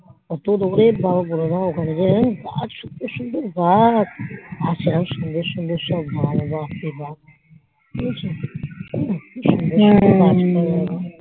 উক্ত দরের বোরো বাপ ওখানে যাওয়া বাহ সুন্দর সুন্দর গাছ আর সেরম সুন্দর সূদনর শোন্ মালও বঝেছ